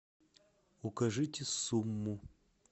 укажите сумму